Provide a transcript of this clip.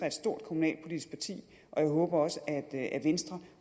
et stort kommunalpolitisk parti og jeg håber også at venstre